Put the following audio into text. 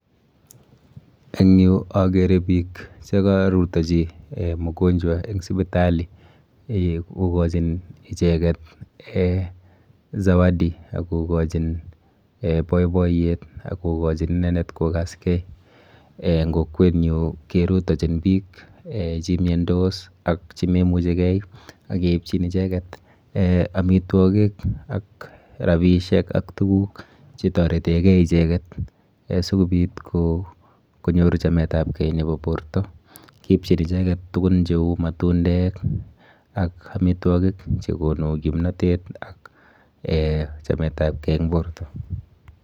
Eng yu akere piik che karutochi um mgonjwa eng sipitali, kokochin icheket um zawadi ak kokochin boiboiyet ak kokochin inendet kokaske. Eng kokwenyu kerutochin piik um che miondos ak chememuchikei ak keipchin icheket um amitwogik ak rabiisiek ak tukuk che toretekei icheket, sikobit konyor chametabgei nebo borta, kiipchin icheket tukun cheu matundek ak amitwokik che konu kimnotet ak um chametabkei eng borta.